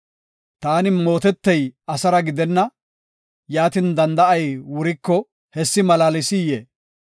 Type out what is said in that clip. Taani mootetey asara gidenna. Yaatin, danda7ay wuriko hessi malaalsiyee?